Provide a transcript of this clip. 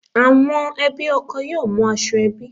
Àwọn ẹbí ọkọ yóò mú aṣọ ẹbí